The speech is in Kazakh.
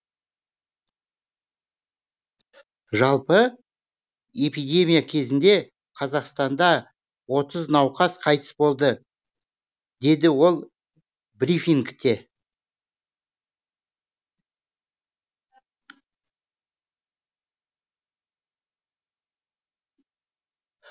жалпы эпидемия кезінде қазақстанда отыз науқас қайтыс болды деді ол брифингте